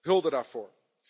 Hulde daarvoor.